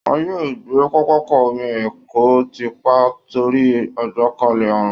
Wọ́n yóò gbé pápákọ omi èkó tì pa torí àjàkálẹ̀ àrùn